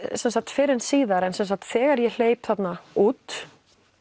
fyrr en síðar að þegar ég hleyp þarna út